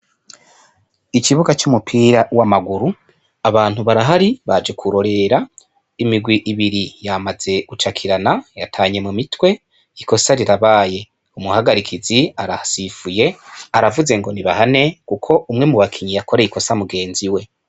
Ikibuga c'umupira w' amaguru abantu barahari baje kurorera imigwi ibiri yamaze gucakirana yatanye mu mitwe ikosa rirabaye umuhagarikizi arahasifuye aravuze ngo ni bahane kuko umwe mu bakinyi yakoreye ikosa mugenzi we.